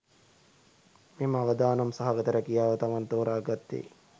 මෙම අවදානම් සහගත රැකියාව තමන් තෝරා ගත්තේ